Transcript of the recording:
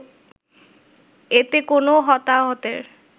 এতে কোনো হতাহতের